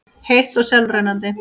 heitt og sjálfrennandi.